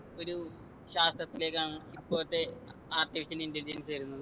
ഒരു ശാസ്ത്രത്തിലേക്കാണ് ഇപ്പോഴത്തെ artificial intelligence വരുന്നത്